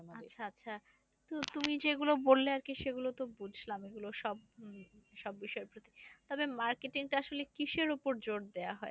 আচ্ছা আচ্ছা তুমি যেগুলো বললে আরকি সেগুলো তো বুঝলাম। এগুলো সব সব বিষয়ের প্রতি তবে marketing টা আসলে কিসের উপর বেশি জোর দেওয়া হয়?